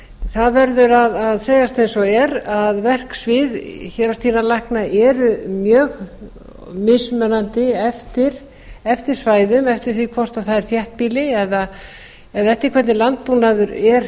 það verður að segjast eins og er að verksvið héraðsdýralækna eru mjög mismunandi eftir svæðum eftir því hvort það er þéttbýli eða eftir því hvernig landbúnaður er